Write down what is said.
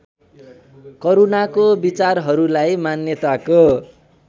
करूणाको विचारहरूलाई मान्यताको